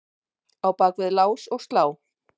á bak við lás og slá.